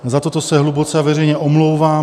Za toto se hluboce a veřejně omlouvám.